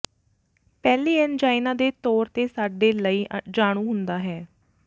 ਪਹਿਲੀ ਐਨਜਾਈਨਾ ਦੇ ਤੌਰ ਤੇ ਸਾਡੇ ਲਈ ਜਾਣੂ ਹੁੰਦਾ ਹੈ